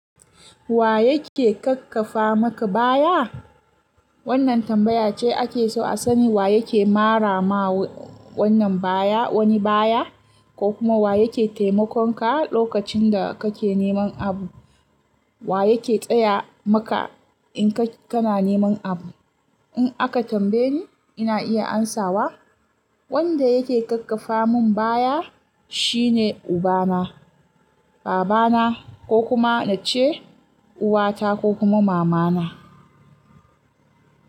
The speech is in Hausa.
Wa yake kakkafa maka baya? Wannan tambaya ce ake so a sani wa yake mara ma wannan baya wani baya ko kuma wa yake taimakon ka lokacin da kake neman abu. Wa yake tsaya maka in kana neman abu? In aka tambaye ni, ina iya amsawa wanda yake kakkafa mun baya shine uba na, baba na ko kuma nace uwata ko kuma mama na.